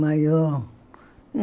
Maiô?